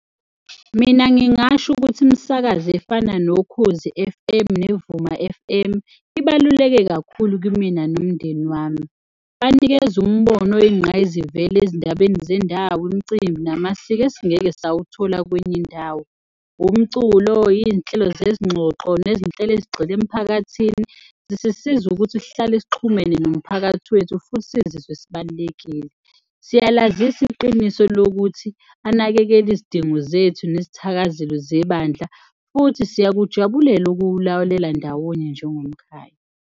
Mina ngingasho ukuthi imisakazo efana noKhozi F_M, neVuma F_M ibaluleke kakhulu kimina nomndeni wami. Banikeze umbono oyingqayizivele ezindabeni zendawo, imcimbi namasiko esingeke sawuthola kwenye indawo. Umculo, iy'nhlelo zezingxoxo nezinhlelo ezigxile emphakathini zisisiza ukuthi sihlale sixhumene nomphakathi wethu futhi sizizwe sibalulekile. Siyalazisa iqiniso lokuthi anakekele izidingo zethu nezithakazelo zebandla futhi siyakujabulela ukuwulawulela ndawonye njengomkhaya.